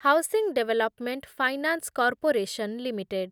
housing development finance corporation limited